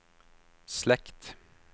slekt